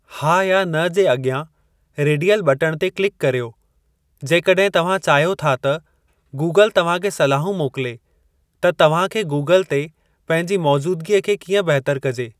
हा या न जे अॻियां रेडियल बटणु ते किल्क करियो जेकॾहिं तव्हां चाहियो था त गूगल तव्हां खे सलाहूं मोकिले त तव्हां खे गूगल ते पंहिंजी मौजूदगी खे कीअं बहितर कजे।